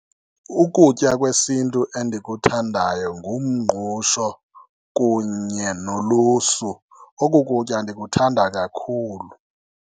Ukutya kwesintu endikuthandayo ngumngqusho kunye nolusu. Oku kutya ndikuthada kakhulu.